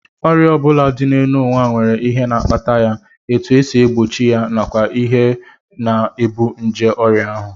Ọrịa ọ bụla dị n'ụwa nwere ihe na-akpata ya, etu e si egbochi ya nakwa ihe na-ebu nje ọrịa ahụ